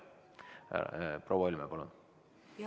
Proua Helme, palun!